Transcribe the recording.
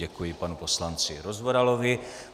Děkuji panu poslanci Rozvoralovi.